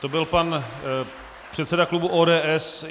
To byl pan předseda klubu ODS.